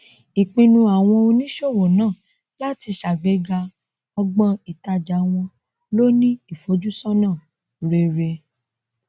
ìpinnu àwọn oníṣòwò náà láti sàgbéga ọgbọn ìtàjà wọn ló ní ìfojúsọnà rere